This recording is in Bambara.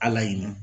Ala ye ɲina